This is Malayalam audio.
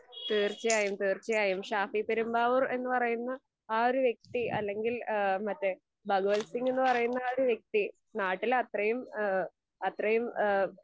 തീർച്ചയായും തീർച്ചയായും. ഷാഫി പെരുമ്പാവൂർ എന്ന് പറയുന്ന ആ ഒരു വ്യക്തി അല്ലെങ്കിൽ ഈഹ് മറ്റേ ഭഗവത് സിംഗ് എന്ന് പറയുന്ന ആ ഒരു വ്യക്തി നാട്ടിൽ അത്രെയും ഏഹ് അത്രെയും ഏഹ്